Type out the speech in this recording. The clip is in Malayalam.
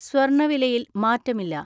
സ്വർണ്ണവിലയിൽ മാറ്റമില്ല.